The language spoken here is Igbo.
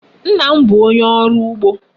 Nna m bu onye oru ugbo